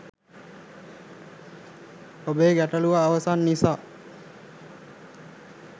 ඔබේ ගැටළු අවසන් නිසා